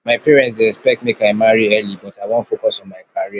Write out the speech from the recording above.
my parents dey expect make i marry early but i wan focus on my career